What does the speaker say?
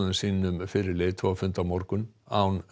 sínum fyrir leiðtogafund á morgun án